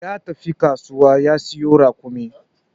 Ya tafi kasuwa ta siyo raƙumi